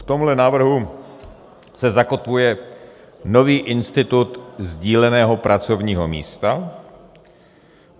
V tomhle návrhu se zakotvuje nový institut sdíleného pracovního místa.